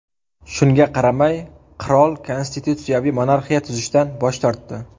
Shunga qaramay, qirol konstitutsiyaviy monarxiya tuzishdan bosh tortdi.